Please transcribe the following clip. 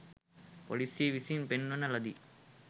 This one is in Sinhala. පොලිසිය විසින් පෙන්වන ලදී